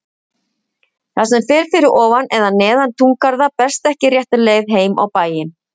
Það sem fer fyrir ofan eða neðan túngarða berst ekki rétta leið heim á bæinn.